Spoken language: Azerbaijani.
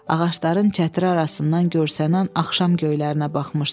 Ağacların çətiri arasından görsənən axşam göylərinə baxmışdı.